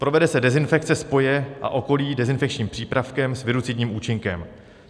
Provede se dezinfekce spoje a okolí dezinfekčním přípravkem s virucidním účinkem.